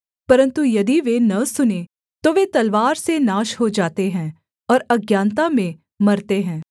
परन्तु यदि वे न सुनें तो वे तलवार से नाश हो जाते हैं और अज्ञानता में मरते हैं